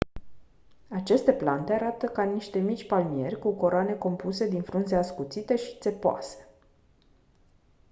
aceste plante arată ca niște mici palmieri cu coroane compuse din frunze ascuțite și țepoase